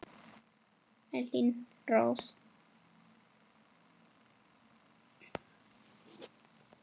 Elín Rós.